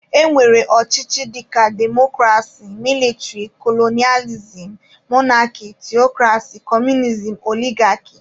E nwere ọchịchị dịka demokrasi, mịlịtịrị, kolonịalizim, monarki, theokrasi, kọmunizim, oligaki wdg